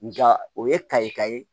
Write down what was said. Nga o ye kayika ye